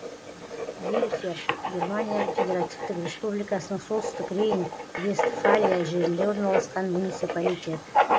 вельфер германия федеративтік республикасының солтүстік рейн вестфалия жерінде орналасқан муниципалитет